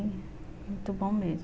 Muito bom mesmo.